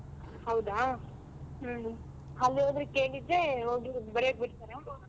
ಹೌದಾ ಹ್ಮ್ ಅಲ್ಲಿ ಹೋಗಿ ಕೇಳಿದ್ರೆ ಹೋಗಿ ಬರ್ಯಾಕ್ ಬಿಡ್ತಾರಾ?